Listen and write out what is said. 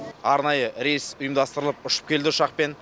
арнайы рейс ұйымдастырылып ұшып келді ұшақпен